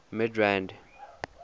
midrand